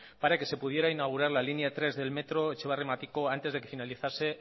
para que se pudiera inaugurar la línea tres del metro etxebarri matiko antes de que finalizase